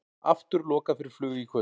Aftur lokað fyrir flug í kvöld